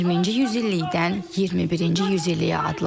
20-ci yüzillikdən 21-ci yüzilliyə adladın.